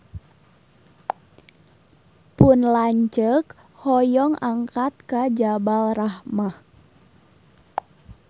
Pun lanceuk hoyong angkat ka Jabal Rahmah